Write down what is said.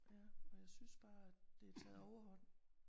Ja og jeg synes bare at det taget overhånd